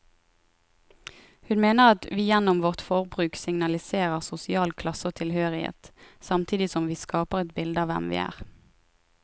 Hun mener at vi gjennom vårt forbruk signaliserer sosial klasse og tilhørighet, samtidig som vi skaper et bilde av hvem vi er.